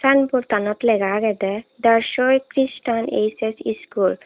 sign board anot lega agedey Darchawi Chirstian H_S School.